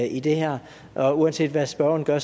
i det her og uanset hvad spørgeren gør